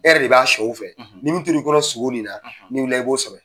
E yɛrɛ de b'a o fɛ ni min t'ori kɔnɔ sugo nin na ni wilila i b'o sɔrɔ.